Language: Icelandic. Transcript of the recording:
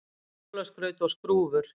Jólaskraut og skrúfur